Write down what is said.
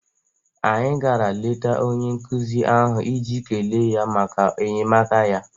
Anyị gara leta onye nkụzi ahụ iji kelee ya maka enyemaka ya.